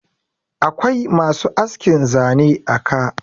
akwai masu askin Zane a ka